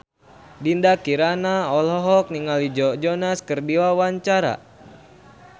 Dinda Kirana olohok ningali Joe Jonas keur diwawancara